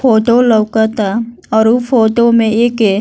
photo लउकता और उ फोटो में एके --